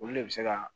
Olu de bɛ se ka